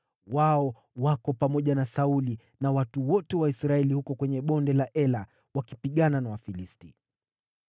Wao wako pamoja na Sauli na watu wote wa Israeli huko kwenye Bonde la Ela, wakipigana na Wafilisti.”